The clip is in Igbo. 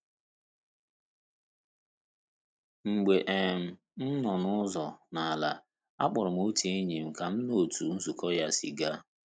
Mgbe um m nọ n'uzo n'ala, akpọrọ m otu enyi m ka m nụ otu nzukọ ya si gaa.